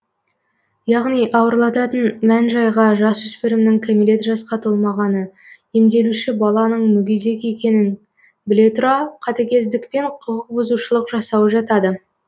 яғни ауырлататын мән жайға жасөспірімнің кәмелет жасқа толмағаны емделуші баланың мүгедек екенін біле тұра катігездікпен құқықбұзушылық жасауы жатады